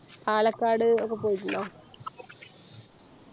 പാലക്കാട് ഒക്കെ പോയിട്ടുണ്ടോ